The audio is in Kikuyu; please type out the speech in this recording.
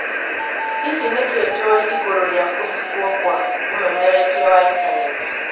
Hihi nĩkĩ tũĩ igũrũ rĩa kũhingwo kwa ũmemerekia wa intaneti?